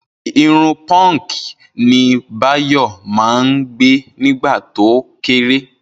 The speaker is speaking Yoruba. Irun punk ni Báyọ̀ máa ń gẹ̀ nígbà tó kéré